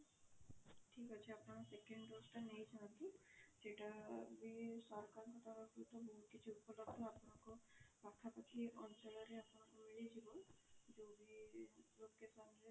ଠିକ ଅଛି ଆପଣ second dose ଟା ନେଇ ଯାଅନ୍ତୁ ସେଇଟା ବି ସରକାରଙ୍କ ଠୁ କିଛି ଉପଲବ୍ଧ ଆପଣଙ୍କ ପାଖା ପାଖି ଅଞ୍ଚଳରେ ଆପଣଙ୍କୁ ମିଳିଯିବ ଯୋଉଠି location ରେ